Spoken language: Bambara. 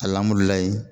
Alihamudulilayi